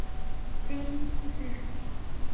Tengd frétt